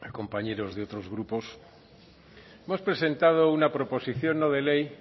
compañeros de otros grupos hemos presentado una proposición no de ley